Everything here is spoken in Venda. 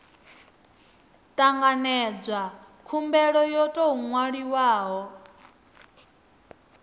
tanganedzwa khumbelo yo tou nwaliwaho